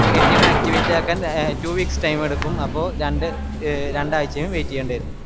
activate ആക്കാൻ two weeks time എടുക്കും അപ്പൊരണ്ട് രണ്ടായ്ച്ചയുംവെയിറ്റ് ചെയ്യണ്ടേരും